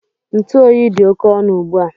Ntụ oyi dị oke ọnụ ugbu a